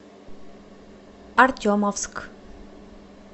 артемовск